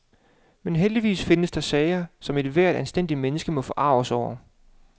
Men heldigvis findes der sager, som ethvert anstændigt menneske må forarges over.